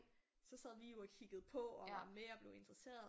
Så sad vi jo og kiggede på og mere og blev interesserede